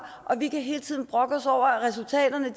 og vi kan hele tiden brokke os over at resultaterne